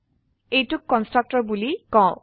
এইটোক কন্সট্ৰাকটৰ বোলি কও